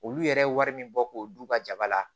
Olu yɛrɛ ye wari min bɔ k'o d'u ka jaba la